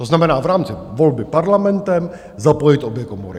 To znamená v rámci volby Parlamentem, zapojit obě komory.